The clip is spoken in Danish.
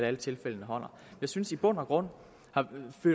alle tilfældene holder jeg synes i bund og grund